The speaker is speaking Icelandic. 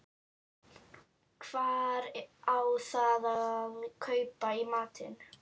Hvar á þá að kaupa í matinn?